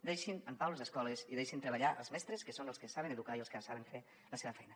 deixin en pau les escoles i deixin treballar els mestres que són els que saben educar i els que saben fer la seva feina